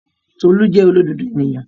Tolú jẹ́ olódodo èèyàn